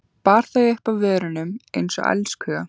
Bar þau upp að vörunum einsog elskhuga.